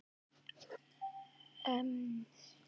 Bara að brjóstin á Heiðu verði ekki svona stór.